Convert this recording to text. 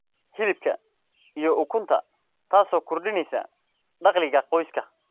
hilibka, iyo ukunta, taasoo kordhinaysa dakhliga qoyska.